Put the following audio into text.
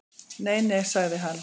Nei nei, sagði hann.